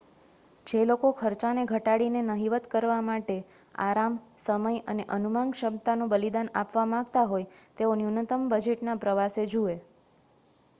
જે લોકો ખર્ચાને ઘટાડીને નહિવત્ કરવા માટે આરામ સમય અને અનુમાનક્ષમતાનું બલિદાન આપવા માગતા હોય તેઓ ન્યૂનતમ બજેટના પ્રવાસ જુએ